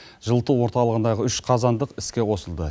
жылыту орталығындағы үш қазандық іске қосылды